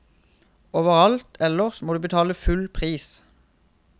Overalt ellers må du betale full pris.